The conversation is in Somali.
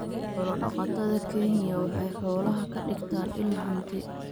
Xoolo-dhaqatada Kenya waxay xoolaha ka dhigtaan il hanti.